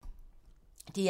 DR1